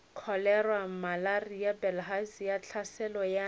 kholera malaria bilharzia tlhaselo ya